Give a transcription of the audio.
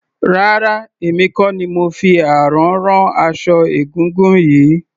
Rárá emi kò ni mo fi àrán rán aṣọ egúngún yìí.